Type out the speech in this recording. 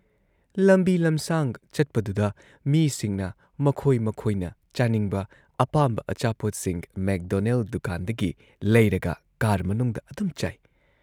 ꯂꯝꯕꯤ ꯂꯝꯁꯥꯡ ꯆꯠꯄꯗꯨꯗ ꯃꯤꯁꯤꯡꯅ ꯃꯈꯣꯏ ꯃꯈꯣꯏꯅ ꯆꯥꯅꯤꯡꯕ ꯑꯄꯥꯝꯕ ꯑꯆꯥꯄꯣꯠꯁꯤꯡ ꯃꯦꯛꯗꯣꯅꯦꯜ ꯗꯨꯀꯥꯟꯗꯒꯤ ꯂꯩꯔꯒ ꯀꯥꯔ ꯃꯅꯨꯡꯗ ꯑꯗꯨꯝ ꯆꯥꯏ ꯫